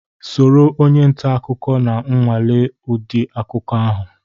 Soro onye nta akụkọ na-anwale ụdị akụkọ ọhụrụ.